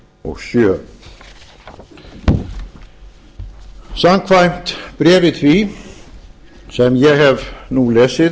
og sjö samkvæmt bréfi því sem ég hef nú lesið